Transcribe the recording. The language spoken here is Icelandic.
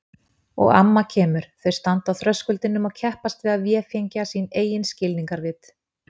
Og amma kemur, þau standa á þröskuldinum og keppast við að véfengja sín eigin skilningarvit.